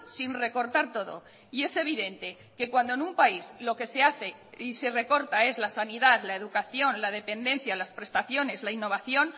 sin recortar todo y es evidente que cuando en un país lo que se hace y se recorta es la sanidad la educación la dependencia las prestaciones la innovación